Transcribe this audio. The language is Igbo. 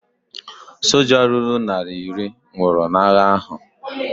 Soja ruru narị ise nwụrụ n'agha ahu